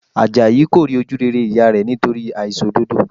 Àjàyí kò rí ojú rere ìyá rẹ̀ nítorí àìṣòdodo